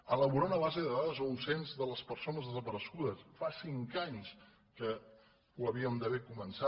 elaborar una base de dades o un cens de les persones desaparegudes fa cinc anys que ho havíem d’haver començat